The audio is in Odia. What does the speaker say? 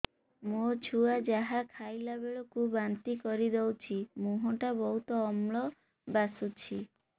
ମୋ ଛୁଆ ଯାହା ଖାଇଲା ବେଳକୁ ବାନ୍ତି କରିଦଉଛି ମୁହଁ ଟା ବହୁତ ଅମ୍ଳ ବାସୁଛି